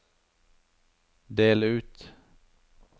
del ut